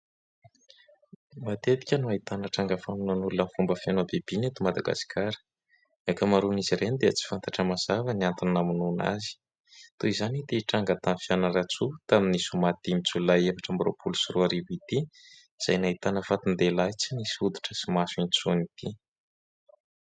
Matetika no ahitana tranga famonoana olona amin'ny fomba feno habibiana eto Madagasikara. Ny ankamaroan'izy ireny dia tsy fantatra mazava ny antony namonoana azy ; toy izany ity tranga tany Fianarantsoa tamin'ny zoma dimy Jolay efatra amby roapolo sy roa arivo ity izay nahitana fatin-dehilahy tsy nisy hoditra sy maso intsony ity.